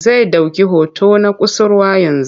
Zai ɗauki hoton na kusurwa yanzu.